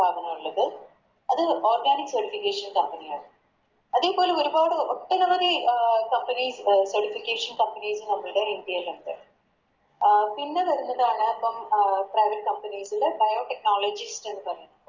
സ്ഥാപനള്ളത് അത് Organic certification company ആണ് അതെ പോലെ ഒരുപാട് ഒട്ടനവധി അഹ് Companies certification companies നമ്മുടെ ഇന്ത്യയിലിണ്ട് അഹ് പിന്നെ വരുന്നതാണ് അഹ് Private companies ലെ Bio technology